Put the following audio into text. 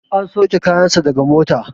An sauke kayan sa daga mota